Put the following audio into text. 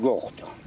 Bax bunlar yoxdur.